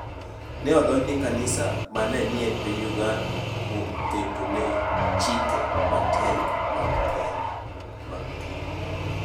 Ne odonjone kanisa ma ne ni e piny Uganda kuom ketone chike matek mag keny .